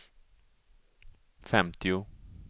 femtio